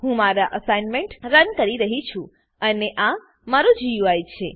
હું મારો assignment run કરી રહ્યી છું અને આ મારું ગુઈ છે